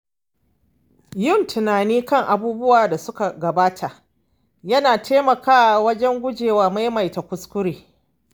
Yin tunani kan abubuwan da suka gabata yana taimakawa wajen gujewa maimaita kuskure.